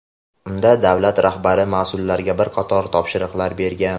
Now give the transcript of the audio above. Unda davlat rahbari mas’ullarga bir qator topshiriqlar bergan.